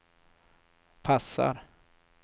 passar